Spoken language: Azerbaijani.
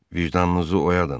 Vicdanınızı oyadın.